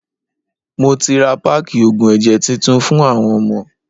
Mo ti ra páákì oògùn ẹ̀jẹ̀ titun fún àwọn ọmọ.